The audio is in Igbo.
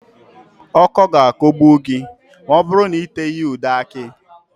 Ọ́kọ́ ga-akọgbu gị ma ọ bụrụ na ị teghị ya ude akị